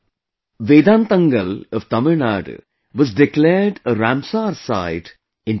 Vedanthangal of Tamil Nadu was declared a Ramsar Site in 2022